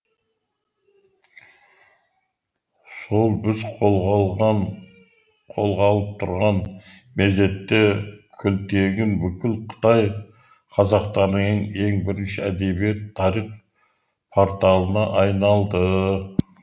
сол біз қолға алып тұрған мезетте күлтегін бүкіл қытай қазақтарының ең бірінші әдебиет тарих порталына айналды